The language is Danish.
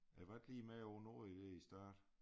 Jeg var ikke lige med nogle år i der i æ start